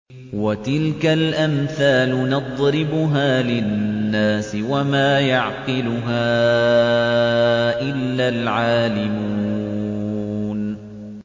وَتِلْكَ الْأَمْثَالُ نَضْرِبُهَا لِلنَّاسِ ۖ وَمَا يَعْقِلُهَا إِلَّا الْعَالِمُونَ